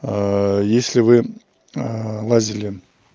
если вы лазили